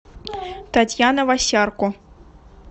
татьяна васярко